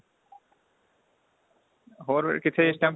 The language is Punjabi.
ਹੋਰ ਫੇਰ ਕਿੱਥੇ ਇਸ time